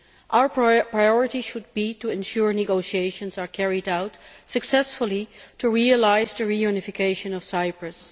Our priority should be to ensure negotiations are carried out successfully to realise the unification of Cyprus.